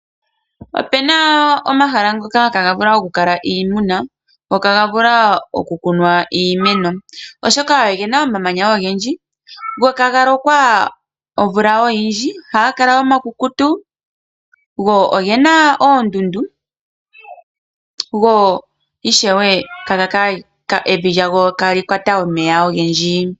Opuna omahala ngoka ihaaga vulu oku kala iimuna, go iha ga vulu oku kunwa iimeno, oshoka ogena omamanya oogendji go ihaga lokwa omvula oyindji, ohagakala oma kukutu, go ogena oondundu, go ishewe evi lya go iha li kwata omeya ogendji.